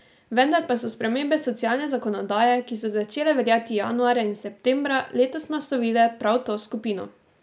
Vendar pa so spremembe socialne zakonodaje, ki so začele veljati januarja in septembra letos, naslovile prav to skupino.